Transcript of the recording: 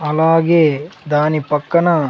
అలాగే దాని పక్కన.